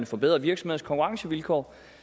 forbedre virksomheders konkurrencevilkår